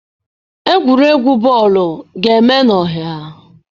Egwuregwu bọọlụ ga-eme n'ọhịa.